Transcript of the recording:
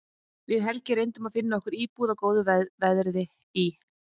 Við Helgi reyndum að finna okkur íbúð á góðu verði í